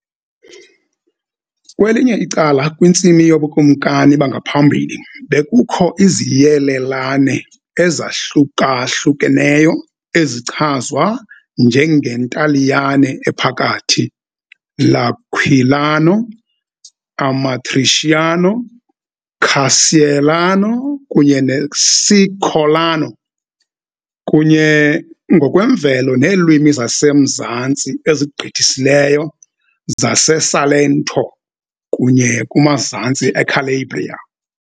Kwelinye icala, kwintsimi yoBukumkani bangaphambili bekukho iziyelelane ezahlukahlukeneyo ezichazwa njengeNtaliyane Ephakathi, L' Aquilano, Amatriciano, Carseolano kunye noCicolano, kunye ngokwemvelo neelwimi zasemzantsi ezigqithisileyo zaseSalento kunye kumazantsi eCalabria .